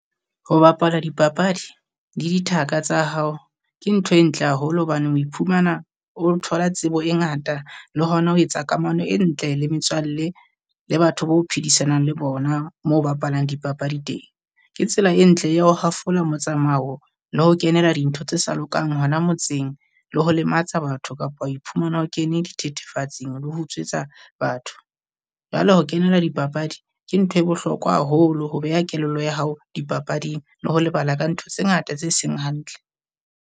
Ho bapala dipapadi di dithaka tsa hao ke ntho e ntle haholo hobaneng o iphumana o thola tsebo e ngata le hona ho etsa kamano e ntle le metswalle le batho bo phedisanang le bona mo bapalang dipapadi teng. Ke tsela e ntle ya ho hafola motsamao le ho kenela dintho tse sa lokang hona motseng, le ho lematsa batho kapa ho iphumana o kene dithethefatsing le ho utswetsa batho. Jwale ho kenela dipapadi ke ntho e bohlokwa haholo ho beha kelello ya hao dipapading le ho lebala ka ntho tse ngata tse seng hantle.